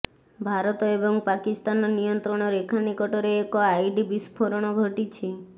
ଭାରତ ଏବଂ ପାକିସ୍ତାନ ନିୟନ୍ତ୍ରଣ ରେଖା ନିକଟରେ ଏକ ଆଇଡି ବିସ୍ଫୋରଣ ଘଟିଛି